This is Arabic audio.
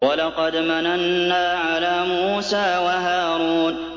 وَلَقَدْ مَنَنَّا عَلَىٰ مُوسَىٰ وَهَارُونَ